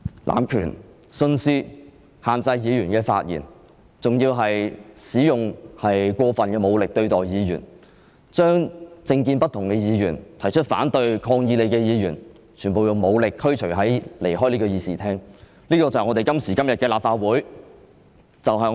濫權、徇私、限制議員發言，還使用過分武力對待議員，把政見不同的議員、提出反對和抗議你的議員，全部用武力驅逐出會議廳——這便是今時今日的立法會。